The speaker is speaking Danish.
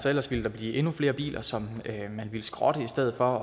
ellers ville der blive endnu flere biler som man ville skrotte i stedet for